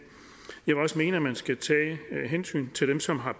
jeg vil også mene at man skal tage hensyn til dem som har